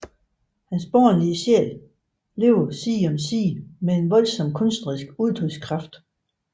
Hans barnlige sjæl levede side om side med en voldsom kunstnerisk udtrykskraft